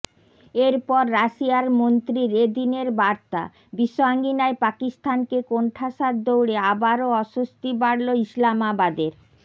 এরপর রাশিয়ার মন্ত্রীর এদিনের বার্তা বিশ্ব আঙিনায় পাকিস্তানকে কোণঠাসার দৌড়ে আবারও অস্বস্তি বাড়ল ইসলামাবাদের